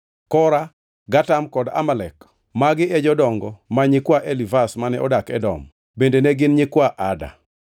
Kora, Gatam kod Amalek magi e jodongo ma nyikwa Elifaz mane odak Edom; bende ne gin nyikwa Ada.